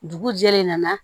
Dugu jɛlen nana